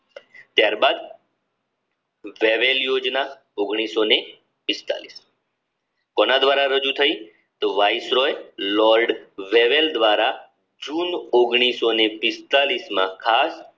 ત્યારબાદ વેવેલ યોજના ઓગણિસઓને પિસ્તાલીસ કોના દ્વારા રજુ થઈ લોર્ડ વેવેલ દ્વારા જૂન માં ખાસ